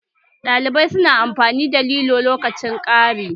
Ɗalibai su na amfani da lilo lokacin kari